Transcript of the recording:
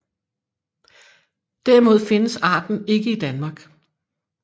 Derimod findes arten ikke i Danmark